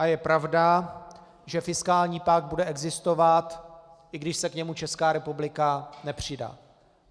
A je pravda, že fiskální pakt bude existovat, i když se k němu Česká republika nepřidá.